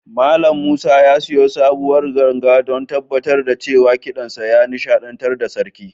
Mallam Musa ya sayo sabuwar ganga don tabbatar da cewa kiɗansa ya nishaɗantar da sarki.